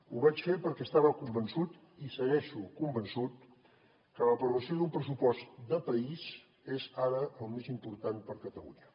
ho vaig fer perquè estava convençut i segueixo convençut que l’aprovació d’un pressupost de país és ara el més important per a catalunya